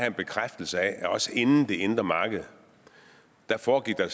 en bekræftelse af at også inden det indre marked foregik der